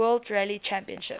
world rally championship